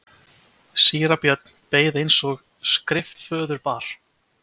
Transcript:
Síra Björn beið eins og skriftaföður bar.